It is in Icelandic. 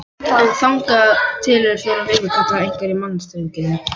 En þangað til eru fjórar vikur, kallaði einhver í mannþrönginni.